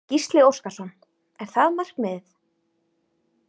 Gísli Óskarsson: Er það markmiðið?